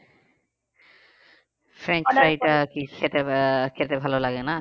খেতে আহ খেতে ভালো লাগে না?